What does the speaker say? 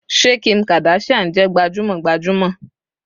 Ṣé Kim Kardashian jẹ gbajúmọ̀ gbajúmọ̀